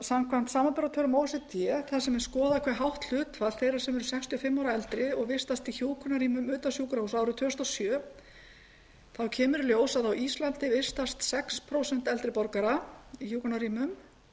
samkvæmt samanburðartölum o e c d þar sem skoðað er hve hátt hlutfall þeirra sem eru sextíu og fimm ára og eldri vistast í hjúkrunarrýmum árið tvö þúsund og sjö kemur í ljós að á íslandi vistast sex prósent eldri borgara í hjúkrunarrýmum